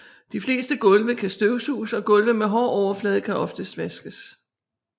De fleste gulve kan støvsuges og gulve med hård overflade kan oftest vaskes